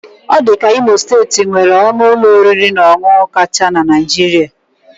Ọ dị ka Imo steeti nwere ọnụ ụlọ oriri na ọṅụṅụ kacha na Naịjirịa.